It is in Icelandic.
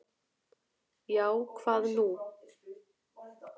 Já, hvað nú?